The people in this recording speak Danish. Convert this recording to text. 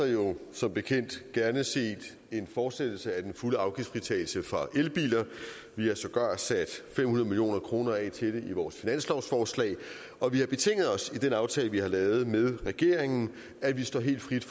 jo som bekendt gerne set en fortsættelse af den fulde afgiftsfritagelse for elbiler vi havde sågar sat fem hundrede million kroner af til det i vores finanslovsforslag og vi har betinget os i den aftale vi har lavet med regeringen at vi står helt frit